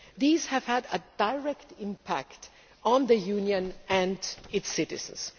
These have had a direct impact on the Union and its citizens.